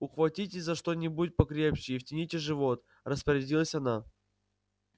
ухватитесь за что-нибудь покрепче и втяните живот распорядилась она